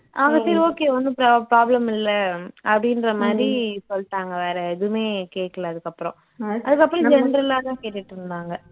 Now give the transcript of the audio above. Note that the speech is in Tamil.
அவங்க சரி okay ஒண்ணும் பா problem இல்ல அப்படின்ற மாதிரி சொல்லிட்டாங்க வேற எதுவுமே கேக்கல அதுக்கு அப்பறம் அதுக்கு அப்பறம general ஆ தான் கேட்டுட்டுருந்தாங்க